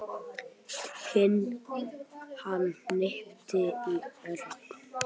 Hann hnippti í Örn.